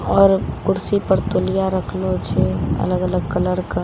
आओर कुर्सी पर तौलिया रखलो छे। अलग-अलग कलर के --